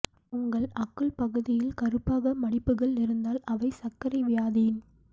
உங்கள் அக்குள் பகுதியில் கருப்பாக மடிப்புகள் இருந்தால் அவை சர்க்கரை வியாதியின்